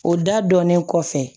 O da dɔnnen kɔfɛ